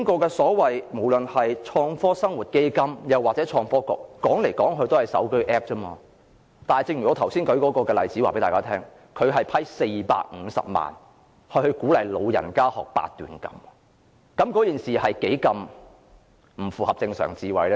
現時不論是創科基金或創科局，說來說去也是手機 App 而已，但正如我剛才舉出的例子，創科基金撥款450萬元給老人家學習八段錦，是多麼不符合正常智慧。